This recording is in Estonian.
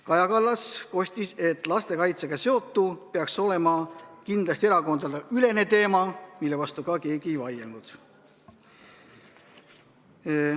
Kaja Kallas kostis, et lastekaitsega seotu peaks olema kindlasti erakondadeülene teema, mille vastu keegi ei vaielnud.